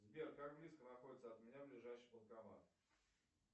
сбер как близко находится от меня ближайший банкомат